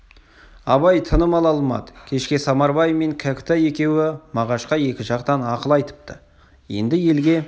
абай тыным ала алмады кешке самарбай мен кәкітай екеуі мағашқа екі жақтан ақыл айтыпты енді елге